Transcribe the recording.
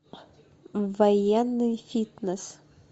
военный фитнес